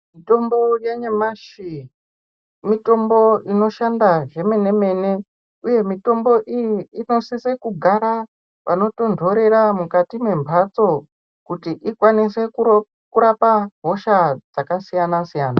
Mitombo yanyamashi mitombo inoshanda zvemene mene uye mitombo iyi inosise kugara panotontorera mukati mwemphatso kuti ikwanise kurapa hosha dzakasiyana siyana.